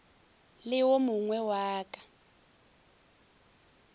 le wo mogwe wa ka